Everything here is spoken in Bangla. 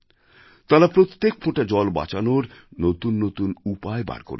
তাঁরা প্রত্যেক ফোঁটা জল বাঁচানোর নতুন নতুন উপায় বার করেছেন